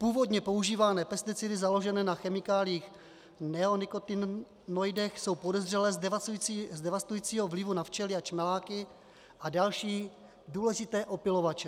Původně používané pesticidy založené na chemikáliích neonikotinoidech jsou podezřelé z devastujícího vlivu na včely a čmeláky a další důležité opylovače.